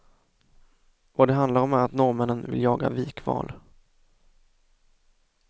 Vad det handlar om är att norrmännen vill jaga vikval.